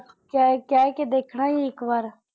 ਕਹਿ, ਕਹਿ ਕੇ ਦੇਖਣਾ ਹੀ ਇੱਕ ਵਾਰ।